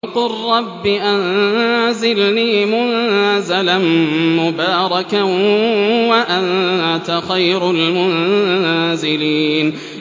وَقُل رَّبِّ أَنزِلْنِي مُنزَلًا مُّبَارَكًا وَأَنتَ خَيْرُ الْمُنزِلِينَ